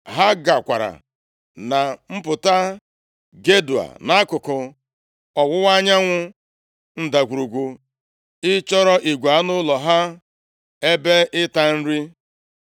ha gakwara na mpụta Gedoa nʼakụkụ ọwụwa anyanwụ ndagwurugwu ịchọrọ igwe anụ ụlọ ha ebe ịta nri.